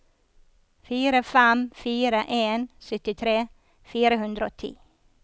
fire fem fire en syttitre fire hundre og ti